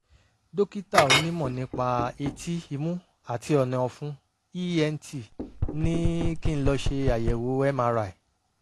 dókítà onímọ̀ nípa etí imú àti ọ̀nà-ọ̀fun (ent) ní kí n lọ ṣe àyẹ̀wò mri